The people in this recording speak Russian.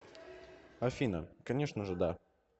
афина конечно же да